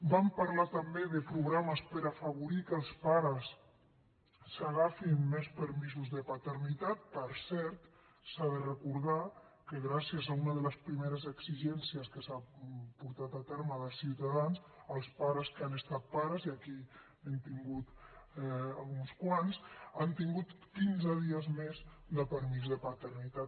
vam parlar també de programes per afavorir que els pares s’agafin més permisos de paternitat per cert s’ha de recordar que gràcies a una de les primeres exigències que s’ha portat a terme des de ciutadans els pares que han estat pares i aquí n’hem tingut uns quants han tingut quinze dies més de permís de paternitat